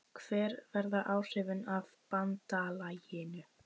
Hver verða áhrifin af BANDALAGINU?